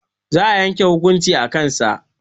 Za a yanke hukunci a kan sa